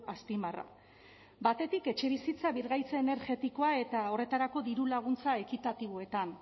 azpimarra batetik etxebizitza birgaitze energetikoa eta horretarako dirulaguntza ekitatiboetan